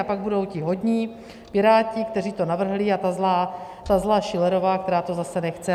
A pak budou ti hodní Piráti, kteří to navrhli, a ta zlá Schillerová, která to zase nechce.